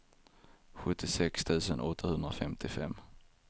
sjuttiosex tusen åttahundrafemtiofem